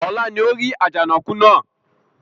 Ọlá ni ó rí Àjànàkú náà